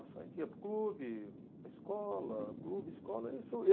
A gente ia para o clube, escola, clube, escola. Isso